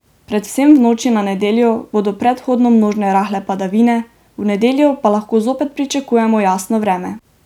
Predvsem v noči na nedeljo bodo prehodno možne rahle padavine, v nedeljo pa lahko zopet pričakujemo jasno vreme.